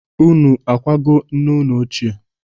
Unu akwago nne unu ochie?